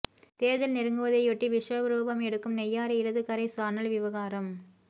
தேர்தல் நெருங்குவதையொட்டி விஸ்வரூபம் எடுக்கும் நெய்யாறு இடது கரை சானல் விவகாரம்